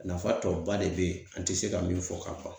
Nafa tɔba de be ye an tɛ se ka min fɔ ka ban.